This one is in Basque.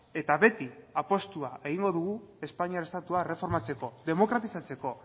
eta beti apustua egingo dugu espainiar estatua erreformatzeko demokratizatzeko